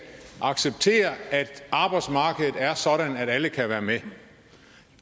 acceptere at arbejdsmarkedet er sådan at alle kan være med